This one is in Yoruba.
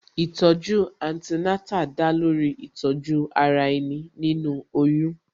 Ìtọ̀ju Antenatal da lórí Ìtọ̀ju ara ẹni, nínú oyún